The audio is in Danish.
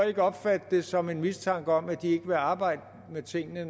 ikke opfatte det som en mistanke om at de ikke vil arbejde med tingene